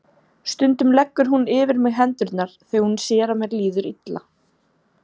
Stundum leggur hún yfir mig hendur þegar hún sér að mér líður illa.